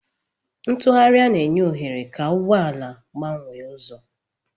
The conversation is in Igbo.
Ntugharị na-enye ohere ka ụgbọ ala gbanwee ụzọ.